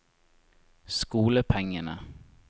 skolepengene